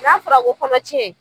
N'a fɔra ko kɔnɔ tiɲɛ